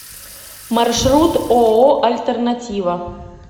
маршрут ооо альтернатива